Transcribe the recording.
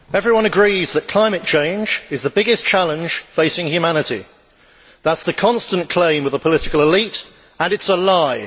Mr President, everyone agrees that climate change is the biggest challenge facing humanity that is the constant claim of the political elite, and it is a lie.